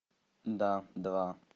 да два